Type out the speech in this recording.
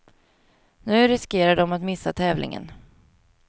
Nu riskerar de att missa tävlingen.